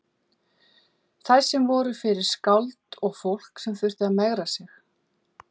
Þær voru fyrir skáld og fólk sem þurfti að megra sig.